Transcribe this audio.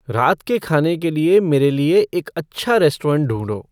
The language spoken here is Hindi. रात के खाने के लिए मेरे लिए एक अच्छा रेस्टोरेंट ढूंढो